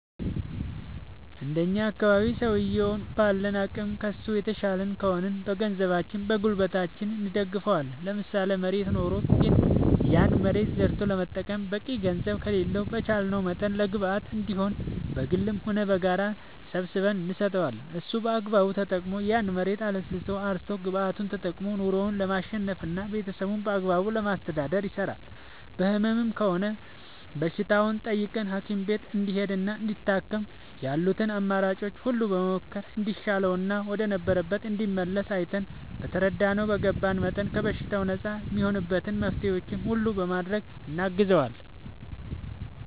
እንደኛ አካባቢ ሠውየዉን ባለን አቅም ከሡ የተሻልን ከሆንን በገንዘባችን በጉልበታችን እንደግፈዋለን ለምሳሌ መሬት ኖሮት ግን ያን መሬት ዘርቶ ለመጠቀም በቂ ገንዘብ ከሌለው በቻለንው መጠን ለግብአት እንዲሆነው በግልም ሆነ በጋራ ሰባስበን እንሰጠዋለን እሱም በአግባቡ ተጠቅሞ ያን መሬት አለስልሶ አርሶ ግብዓቱን ተጠቅሞ ኑሮው ለማሸነፍና ቤተሠቦቹን በአግባቡ ለማስተዳደር ይሰራል በህመም ከሆነም በሽታውን ጠይቀን ሀኪም ቤት እንዲሄድና እንዲታከም ያሉትን አማራጮች ሁሉ በመሞከር እንዲሻለውና ወደ ነበረበት እንዲመለስ አይተን በተረዳነው በገባን መጠን ከበሽታው ነፃ እሚሆንበትን መፍትሔዎች ሁሉ በማድረግ እናግዘዋለን